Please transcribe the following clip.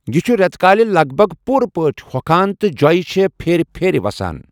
یہ چھُ رٮ۪تہٕ کالہِ لگ بگ پوٗرٕ پٲٹھہِ ہۄکھان، تہٕ جۄ٘یہ چھےٚ پھیرِ پھیرِ وسان ۔